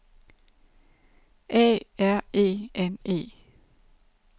A R E N E